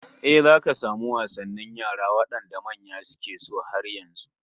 Eh, zaka samu wasannin yara wadanda manya suke so har yanzu